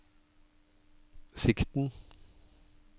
sikten